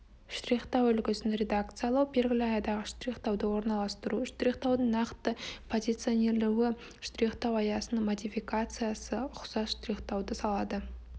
штрихтау үлгісін редакциялау белгілі аядағы штрихтауды орналастыру штрихтаудың нақты позиционирлеуі штрихтау аясының модификациясы ұқсас штрихтауды салады